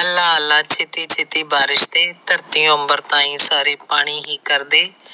ਅੱਲਾ ਅੱਲਾ ਛੇਤੀ ਛੇਤੀ ਬਾਰਿਸ਼ ਭੰਜ ਤੇ ਧਰਤੀ ਅੰਬਰ ਤਾਹੀ ਸਾਰੇ ਪਾਣੀ ਹੀ ਕਰਦੇ।